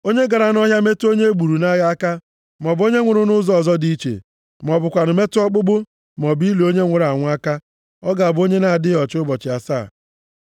“Onye gara nʼọhịa metụ onye e gburu nʼagha aka, maọbụ onye nwụrụ nʼụzọ ọzọ dị iche, ma ọ bụkwanụ metụ ọkpụkpụ, maọbụ ili onye nwụrụ anwụ aka, ọ ga-abụ onye na-adịghị ọcha ụbọchị asaa.